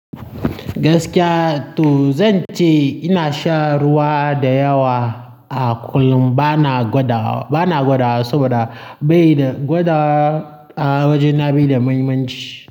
Gaskiya to zan ce ina sha ruwa da yawa a kullum, bana gwadawa, bana gwadawa saboda bai da gwadawa a wajena be da mahimmanci.